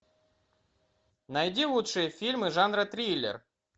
найди лучшие фильмы жанра триллер